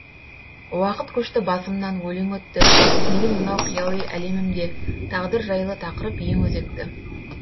уақыт көшті басымнан өлең өтті менің мынау қияли әлемімде тағдыр жайлы тақырып ең өзекті